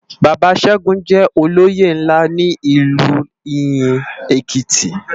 Baba Segun jè ólóyé nlá ni Ilú Iyin Ékiti